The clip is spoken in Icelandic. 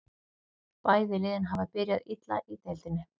Bæði liðin hafa byrjað illa í deildinni.